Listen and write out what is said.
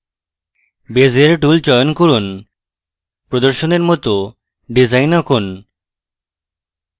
bezier tool চয়ন করুন প্রদর্শনের মত ডিসাইন আঁকুন